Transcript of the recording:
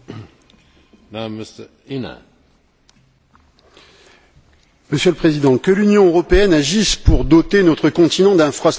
Monsieur le Président, que l'Union européenne agisse pour doter notre continent d'infrastructures dans les domaines des transports, de l'énergie et des réseaux numériques, c'est une bonne chose.